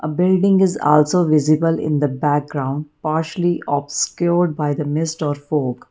A building is also visible in the background partially obscured by the mist or fog.